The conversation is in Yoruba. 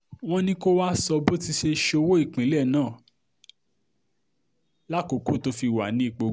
wọ́n ní kó wáá sọ bó ti ṣe sọ́wọ́ ìpínlẹ̀ náà lákòókò tó fi wà nípò gómìnà